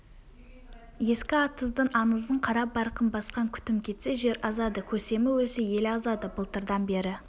ескі атыздың аңызын қара барқын басқан күтім кетсе жер азады көсемі өлсе ел азады былтырдан бері